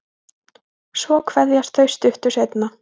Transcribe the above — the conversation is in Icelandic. Svo kveðjast þau stuttu seinna.